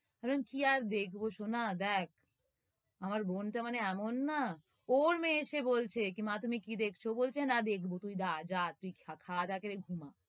কি আর দেখব সোনা, দেখ আমার বোনটা মানে এমন না, ওর মেয়ে এসে বলছে কি, মা তুমি কি দেখছ? বলছে না দেখবো তুই যা, যা, তুই খা~ খা~ দা করে ঘুমা।